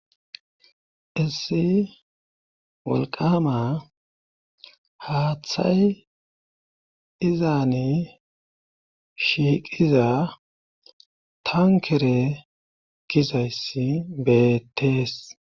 Issi wolqama haaththay izaani shiiqiza tankere gizayssi beettees.